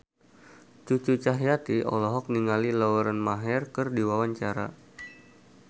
Cucu Cahyati olohok ningali Lauren Maher keur diwawancara